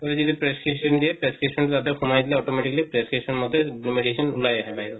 already যে prescription দিয়ে prescription ইয়াতে সুমাই দিলে automatically prescription মতে সেই medicine উলায় আহে বাহিৰত